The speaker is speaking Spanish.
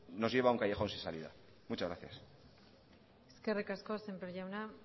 nos lleva a un callejón sin salida muchas gracias eskerrik asko sémper jauna